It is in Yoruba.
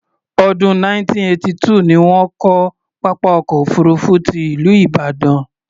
Ọdún 1982 ni wọ́n kọ́ pápá ọkọ̀ òfuurufú ti ìlú Ìbàdàn.